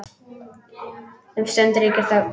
Um stund ríkir þögn.